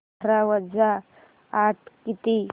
अठरा वजा आठ किती